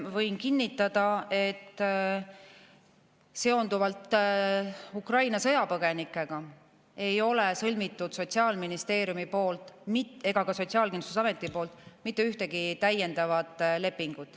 Võin kinnitada, et Ukraina sõjapõgenikega seonduvalt ei ole sõlminud Sotsiaalministeerium ega ka Sotsiaalkindlustusamet mitte ühtegi täiendavat lepingut.